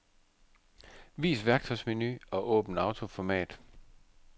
Vis værktøjsmenu og åbn autoformat.